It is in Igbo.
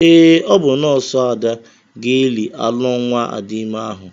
Ee, ọ bụ nọọsụ Ada ga-eli alọ nwa Adime ahụ.